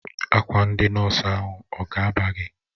Akwa ndị nọọsụ ahụ ọ ga-aba gị?